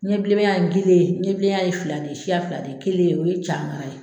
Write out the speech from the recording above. Ɲɛ bilenmaya ye gelen ɲɛbilenya ye fila de ye, siya fila de ye kelen, o ye cagan ye.